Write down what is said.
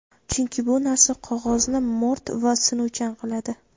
chunki bu narsa qog‘ozni mo‘rt va sinuvchan qiladi.